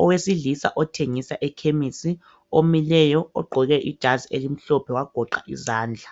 Owesilisa othengisa ekhemsi, omileyo ugqoke ijazi elimhlophe wagoqa izandla